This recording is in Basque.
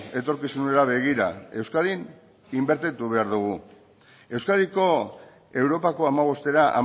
etorkizunera begira euskadin inbertitu behar dugu euskadiko europako hamabostera